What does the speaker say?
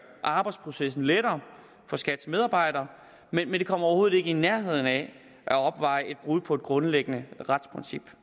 arbejdsprocessen lettere for skats medarbejdere men det kommer overhovedet ikke i nærheden af at opveje det brud på et grundlæggende retsprincip